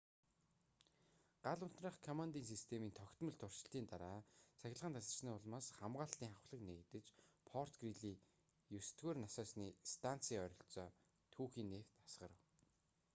гал унтраах командын системийн тогтмол туршилтын дараа цахилгаан тасарсны улмаас хамгаалалтын хавхлаг нээгдэж форт грийли 9-р насосны станцын ойролцоо түүхий нефть асгарав